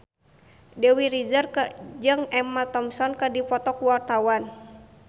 Dewi Rezer jeung Emma Thompson keur dipoto ku wartawan